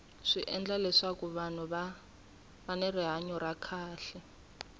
swi endla leswaku vahnu va va ni rihanya ra kahle